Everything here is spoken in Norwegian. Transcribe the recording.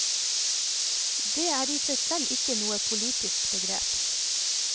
Det er i seg selv ikke noe politisk begrep.